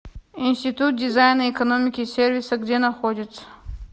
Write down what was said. институт дизайна экономики и сервиса где находится